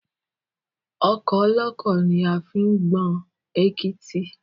Ọkọ́ olọ́kọ́ ni a fi ń gbọn èkítí